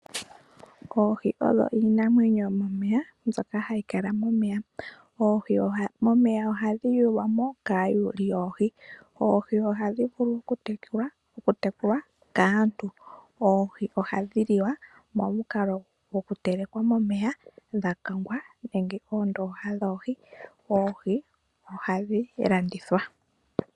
Oohi odho iinamwenyo ndjoka hayi kala momeya. Oohi ohadhi yulwamo kaayuli yoohi momeya oohi ohadhi vulu okutekulwa kaantu, oohi ohadhi liwa nohadhi telekwa momikalo mbali dhakagwa naandhi dhatsa momeya nenge moondoha dhoohi dho ohadhi landithwa woo.